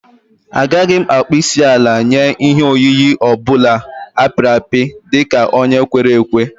Agaghị m akpọ isiala nye ihe oyiyi ọ bụla a pịrị apị dị ka onye kwere ekwe